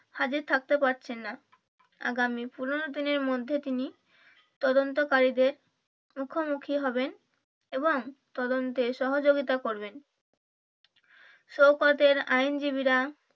হাজির থাকতে পারছেননা আগামী পনেরো দিনের মধ্যে তিনি তদন্ত কারীদের মুখোমুখি হবেন এবং তদন্তে সহযোগিতা করবেন শওকত এর আইনজীবীরা